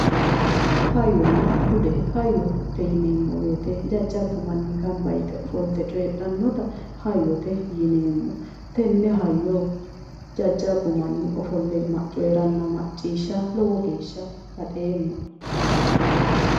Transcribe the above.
Hayyonna bude hayyote yineemmo woyiite jajjabbu manni gamba yite coyiidhannota hayyote yineemmo tenne hayyo jajjabbu manni ofolle coyiiranna macciishsha liwo geeshsha baxeemma